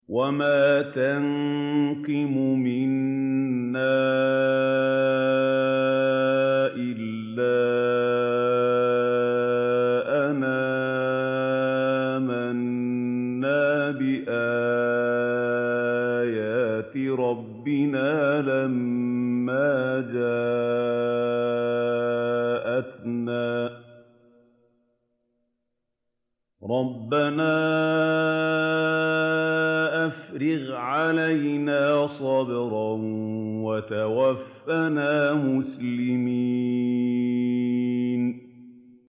وَمَا تَنقِمُ مِنَّا إِلَّا أَنْ آمَنَّا بِآيَاتِ رَبِّنَا لَمَّا جَاءَتْنَا ۚ رَبَّنَا أَفْرِغْ عَلَيْنَا صَبْرًا وَتَوَفَّنَا مُسْلِمِينَ